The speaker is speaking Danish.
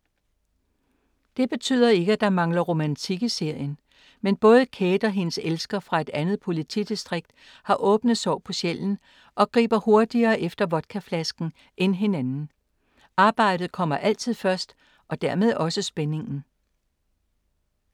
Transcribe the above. Det betyder ikke, at der mangler romantik i serien. Men både Kate og hendes elsker fra et andet politidistrikt har åbne sår på sjælen og griber hurtigere efter vodkaflasken end hinanden. Arbejdet kommer altid først og dermed også spændingen.